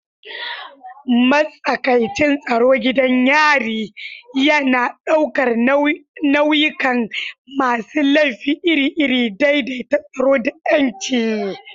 Matsakaicin tsaro gidan yarin yana ɗaukar nau'ikan masu laifi iri-iri, daidaita tsaro da 'yanci.